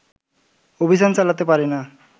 অভিযান চালাতে পারিনা